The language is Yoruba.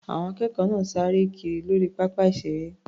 Àwọn akẹ́kọ̀ọ́ náà sáré kiri lórí pápá ìṣeré.